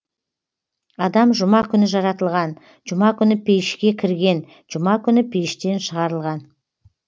адам жұма күні жаратылған жұма күні пейішке кірген жұма күні пейіштен шығарылған